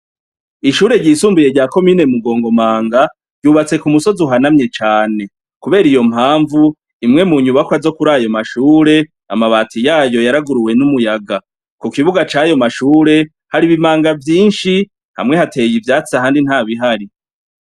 Ishuri ryisumbuye rya komine Mugongomanga ryubatse ku musozi uhanamye cane kubera iyo mpamvu imwe mu nyubakwa zo kurayo mashuri amabati yayo yaraguruwe n'umuyaga ku kibuga cayo ma shuri hari ibimanga vyishi hamwe hateye ivyatsi ahandi ntabihari.